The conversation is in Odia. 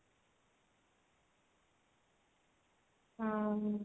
ହୁଁ